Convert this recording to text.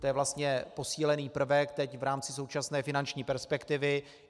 To je vlastně posílený prvek teď v rámci současné finanční perspektivy.